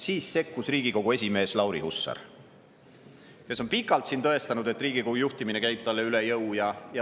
Siis sekkus Riigikogu esimees Lauri Hussar, kes on pikalt siin tõestanud, et Riigikogu juhtimine käib talle üle jõu.